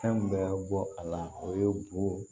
Fɛn bɛɛ bɔ a la o ye bo